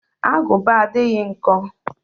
Agụba adịghị nkọ